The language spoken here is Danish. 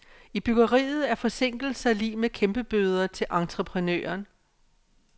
I byggeriet er forsinkelser lig med kæmpebøder til entreprenøren.